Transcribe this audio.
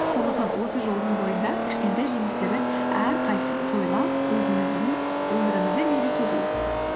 сондықтан осы жолдың бойында кішкентай жеңістердің әрқайсысын тойлап өзіміздің өмірімізді мерекелейік